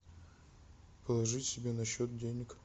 положить себе на счет денег